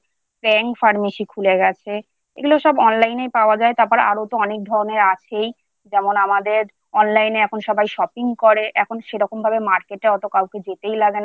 jain pharmacy খুলে গেছে। এগুলো সবOnline এ পাওয়া যায়। তারপর আরও অনেক ধরনের আছেই যেমন আমাদের Online এ এখন সবাই Shopping করে এখন সেরকমভাবেMarket এর মতো কাউকে যেতে লাগে না। সব